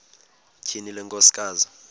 tyhini le nkosikazi